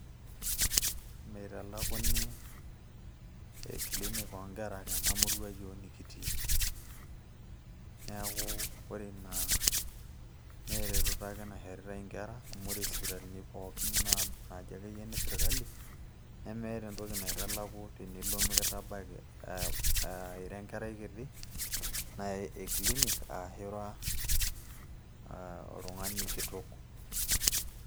meitalakuni clinic oonkera tenamurua yiook nekitii neeku ore ina naa eretoto ake naishoritay inkera amu ore isipitalini pookin naa naaji akeyie ine serkali nemeeta entoki naitalaku tenilo mekitabaki aa ira enkerai kiti nai e clinic ashu ira oltung'ani aa kitok.